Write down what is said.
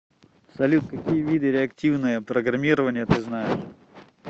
салют какие виды реактивное программирование ты знаешь